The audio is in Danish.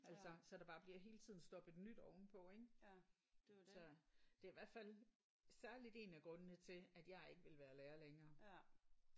Altså så der bare bliver hele tiden stoppet nyt ovenpå ik? Så det er i hvert fald særligt en af grundene til at jeg ikke ville være lærer længere